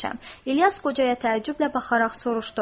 İlyas qocaya təəccüblə baxaraq soruşdu.